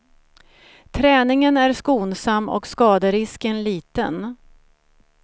Träningen är skonsam och skaderisken liten.